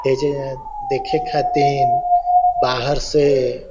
ए जे देखे खातिन बहार से--